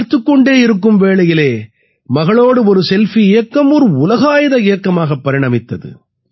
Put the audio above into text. பார்த்துக் கொண்டே இருக்கும் வேளையிலே மகளோடு ஒரு செல்ஃபி இயக்கம் ஒரு உலகாயத இயக்கமாக பரிணமித்தது